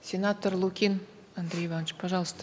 сенатор лукин андрей иванович пожалуйста